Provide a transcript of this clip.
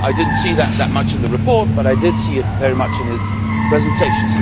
I did not see much of that in the report, but I did see it very much in his presentation.